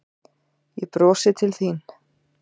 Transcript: Ég brosi til þín.